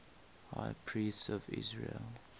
high priests of israel